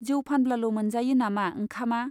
जौ फानब्लाल' मोनजायो नामा ओंखामा ?